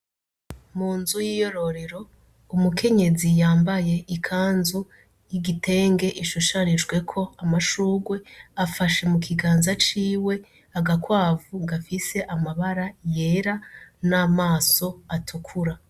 Munzu yiyororero umukenyezi yambaye ikanzu y'igitenge ishushanijweko amashurwe afashe mukiganza ciwe agakwavu gafise amabara yera n'amaso atukura.